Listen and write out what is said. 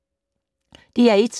DR1